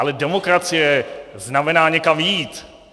Ale demokracie znamená někam jít.